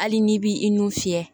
Hali n'i b'i i n'u fiyɛ